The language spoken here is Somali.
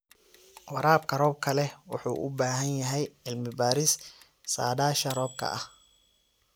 Waraabka roobka leh wuxuu u baahan yahay cilmi-baaris saadaasha hawada ah.